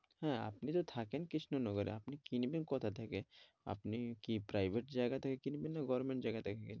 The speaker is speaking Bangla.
হ্যাঁ আপনি তো থাকেন কৃষ্ণনগর আপনি কিনবেন কোথাথেকে আপনি কি private জায়গা থেকে কিনবেন? না government জায়গা থেকে কিনবেন?